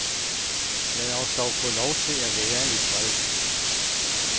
Lad os dog få lov til at være i fred.